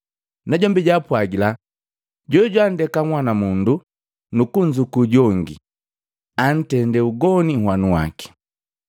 Najombi jaapwagila, “Jojwanndeka nhwanamundu nukunzukuu jongi, antendee ugoni nhwanu waki.